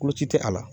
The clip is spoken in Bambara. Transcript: Koloci tɛ a la